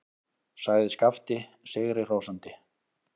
sagði Skapti sigri hrósandi.